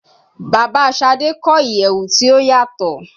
Baba Sade kọ iyẹwu ti o yatọ